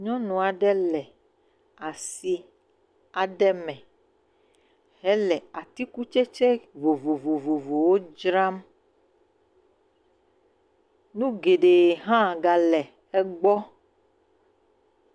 Nyɔnu aɖe le asi aɖe me hele atikutsetse vovovowo dzram, nu geɖee hã gale egbɔ.